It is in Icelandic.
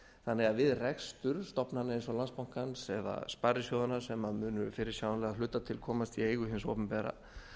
þannig að við rekstur stofnana eins og landsbankans eða sparisjóðanna sem munu fyrirsjáanlega að hluta til komast í eigu hins opinbera